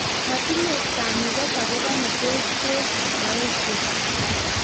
Matinye kamuket akobo netos bek meoshek.